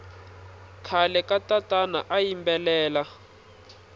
khale katatana ayimbelela